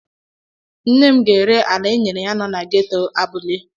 Nne m ga-ere ala enyere ya nọ na geto Abule?